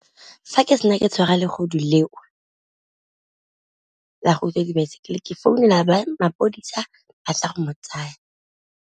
Fa ke sena ke tshwara le bogodu leo, la go utswa dibaesekele ke founela ba mapodisa ba tla go mo tsaya.